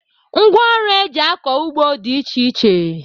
Ngwaọrụ e ji akọ ugbo dị iche iche